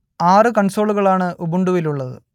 ആറു കൺസോളുകളാണ് ഉബുണ്ടുവിലുള്ളത്